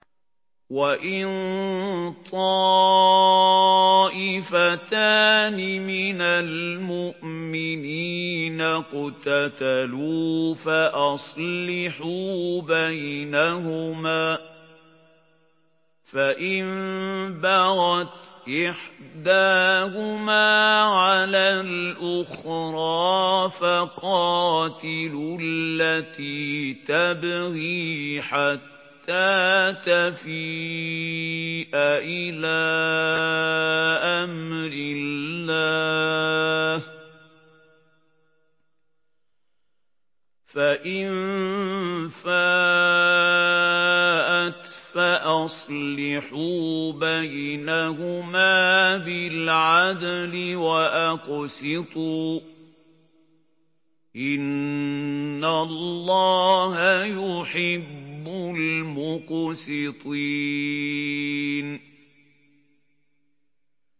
وَإِن طَائِفَتَانِ مِنَ الْمُؤْمِنِينَ اقْتَتَلُوا فَأَصْلِحُوا بَيْنَهُمَا ۖ فَإِن بَغَتْ إِحْدَاهُمَا عَلَى الْأُخْرَىٰ فَقَاتِلُوا الَّتِي تَبْغِي حَتَّىٰ تَفِيءَ إِلَىٰ أَمْرِ اللَّهِ ۚ فَإِن فَاءَتْ فَأَصْلِحُوا بَيْنَهُمَا بِالْعَدْلِ وَأَقْسِطُوا ۖ إِنَّ اللَّهَ يُحِبُّ الْمُقْسِطِينَ